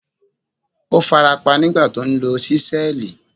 Ó farapa nígbà tí ó ń lo ṣísẹ́ẹ̀lì.